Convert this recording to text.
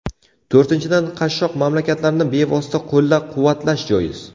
To‘rtinchidan, qashshoq mamlakatlarni bevosita qo‘llab-quvvatlash joiz.